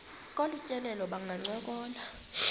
kolu tyelelo bangancokola